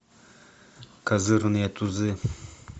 козырные тузы